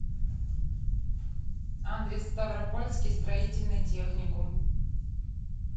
адрес ставропольский строительный техникум